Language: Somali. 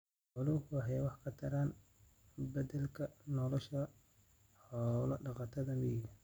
Xooluhu waxay wax ka taraan beddelka nolosha xoolo-dhaqatada miyiga.